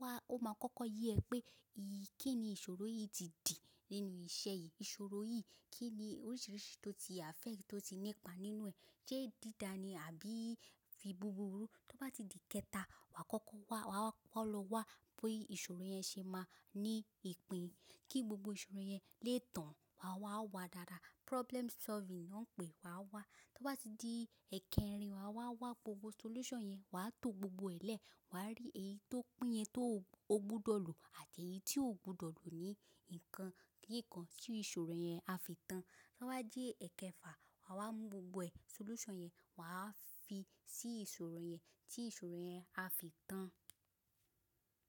wà á, ó máa kọ́kọ́ yẹ pé kí ni ìṣòro yìí ti dì nínú iṣẹ́ yìí, ìṣòro yìí kí ni oríṣiríṣi tó ti affect, tó ti ní ipa nínú ẹ̀. Ṣé dídá ni àbí fi búburú? Tó bá ti di kẹta, wà á kọ́kọ́ wá, wà á kọ́kọ́ lọ wá bí ìṣòro yẹn ṣe máa ní ìpín, kí gbogbo ìṣòro yẹn lè tán. Wà á wá wà dáadáa, problem solving náà pè wà á wá. Tó bá ti di ẹ̀kẹrin, wà á wá wá gbogbo solution yẹn, wà á to gbogbo ẹ̀ lẹ̀, wà á rí èyí tó pín yẹn tó ò gbọdọ̀ lò àti èyí tí ò gbọdọ̀ lò ní nǹkan kí nǹkan tí ìṣòro yẹn á fi tán. Tó bá di ẹ̀kẹfà, wà á mú gbogbo ẹ̀ solution yẹn, wà á fi sí ìṣòro yẹn tí ìṣòro yẹn á fi tán.